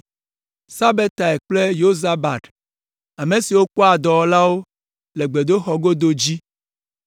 Sabetai kple Yozabad, ame siwo kpɔa dɔwɔlawo le gbedoxɔa godo dzi;